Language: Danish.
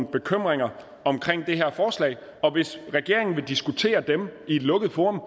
bekymringer omkring det her forslag og hvis regeringen vil diskutere dem i et lukket forum